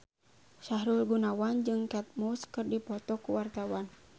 Sahrul Gunawan jeung Kate Moss keur dipoto ku wartawan